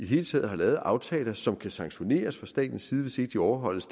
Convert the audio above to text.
hele taget har lavet aftaler som kan sanktioneres fra statens side hvis ikke de overholdes